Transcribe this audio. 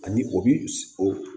Ani o bi o